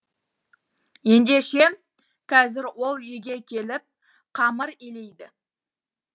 ендеше қазір ол үйге келіп қамыр илейді